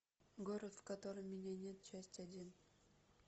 город в котором меня нет часть один